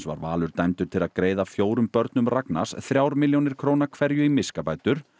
var Valur dæmdur til að greiða fjórum börnum Ragnars þrjár milljónir króna hverju í miskabætur